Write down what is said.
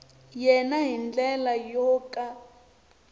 yena hi ndlela yo ka